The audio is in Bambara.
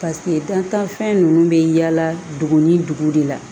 Paseke dantanfɛn ninnu bɛ yaala dugu ni dugu de la